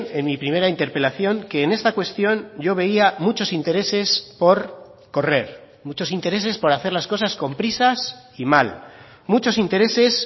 en mi primera interpelación que en esta cuestión yo veía muchos intereses por correr muchos intereses por hacer las cosas con prisas y mal muchos intereses